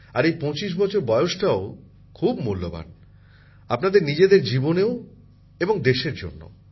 আর এই ২৫ বছর বয়সটাও খুব মূল্যবান আপনাদের নিজেদের জীবনেও এবং দেশের জন্যও